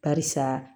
Barisa